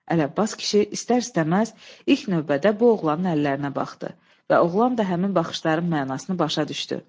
Ələbbas kişi istər-istəməz ilk növbədə bu oğlanın əllərinə baxdı və oğlan da həmin baxışların mənasını başa düşdü.